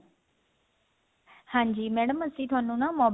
ਹਾਂਜੀ madam ਅਸੀਂ ਥੋਨੂੰ ਨਾ